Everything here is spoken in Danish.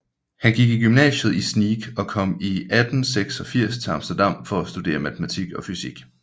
Han gik i gymnasiet i Sneek og kom i 1886 til Amsterdam for at studere matematik og fysik